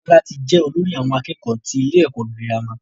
Tọ́lá ti je olórí àwon akékòó tí ilé ẹ̀kọ́ girama